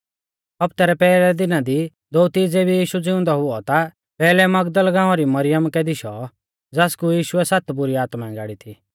हौफ्तै रै पैहलै दिना दी दोअती ज़ेबी यीशु ज़िउंदौ हुऔ ता पैहलै मगदल गाँवा री मरियमा कै दिशौ ज़ासकु यीशुऐ सात बुरी आत्माऐं गाड़ी थी